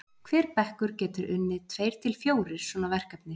hver bekkur getur unnið tveir til fjórir svona verkefni